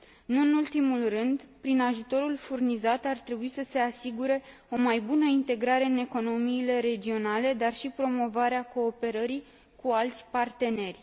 Nu în ultimul rând, prin ajutorul furnizat, ar trebui să se asigure o mai bună integrare în economiile regionale, dar și promovarea cooperării cu alți parteneri.